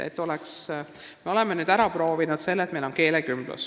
Me oleme nüüdseks ära proovinud selle, et meil on keelekümblus.